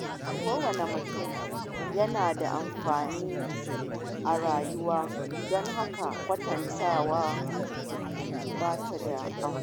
Kowane mutum yana da tafiyarsa a rayuwa, don haka kwatantawa ba ta da amfani.